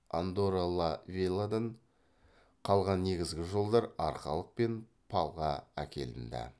андорра ла велладан қалған негізгі жолдар арқалық пен палға әкелінді